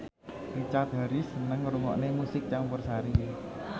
Richard Harris seneng ngrungokne musik campursari